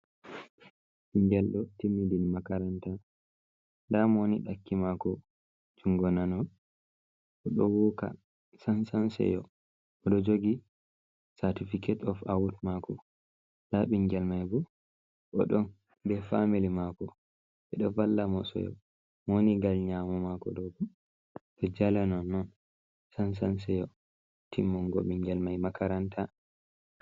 Bingeldo timmidin makaranta, damo woni daki mako jungo nano bo do woka sansan seyo, bo do jogi cartificate of awad mako, da bingel mai bo odo be famili mako bedo valla mo seyo mowoni gal nyamu mako dogo do jala non non sansan seyo timmungo ɓingel mai makaranta.